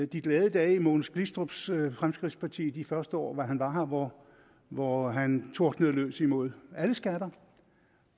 de glade dage i mogens glistrups fremskridtsparti de første år hvor han var her hvor hvor han tordnede løs mod alle skatter